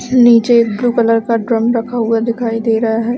नीचे एक blue colour का ड्रम रखा हुआ दिखाई दे रहा हैं।